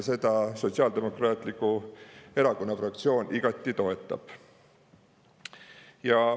Seda Sotsiaaldemokraatliku Erakonna fraktsioon igati toetab.